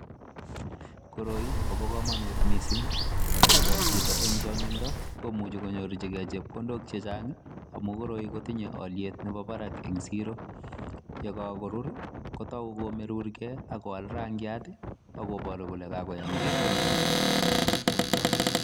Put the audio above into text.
Koroi kobo komonut mising ye kolchito en chong'indo komuch konyorjige chepkondok chechang amun koroi kotinye olyet nebo barak ensiro. Ye kagorur kotou komerur ge ak kowal rangiat ak koboru kole kagoyam kebut.